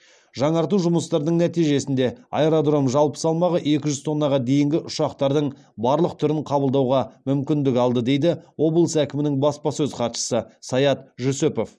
жаңарту жұмыстарының нәтижесінде аэродром жалпы салмағы екі жүз тоннаға дейінгі ұшақтардың барлық түрін қабылдауға мүмкіндік алды дейді облыс әкімінің баспасөз хатшысы саят жүсіпов